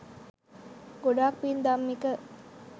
ගොඩක් පින් ධම්මික